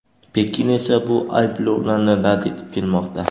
Pekin esa bu ayblovlarni rad etib kelmoqda.